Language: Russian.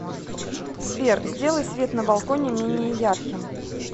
сбер сделай свет на балконе менее ярким